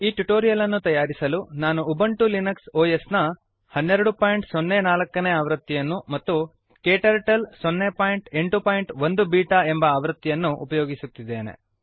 ಈ ಟ್ಯುಟೋರಿಯಲ್ ಅನ್ನು ತಯಾರಿಸಲು ನಾನು ಉಬಂಟು ಲಿನಕ್ಸ್ ಒಎಸ್ ನ 1204 ನೇ ಆವೃತ್ತಿಯನ್ನು ಮತ್ತು ಕ್ಟರ್ಟಲ್ 081 ಬೀಟಾ ಎಂಬ ಆವೃತ್ತಿಯನ್ನು ಉಪಯೋಗಿಸುತ್ತಿದ್ದೇನೆ